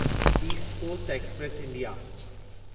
east coast express India